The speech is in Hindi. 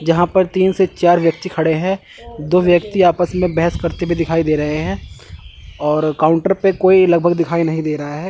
जहां पर तीन से चार व्यक्ति खड़े हैं दो व्यक्ति आपस में बहस करते हुए दिखाई दे रहे हैं और काउंटर पे कोई लगभग दिखाई नहीं दे रहा है।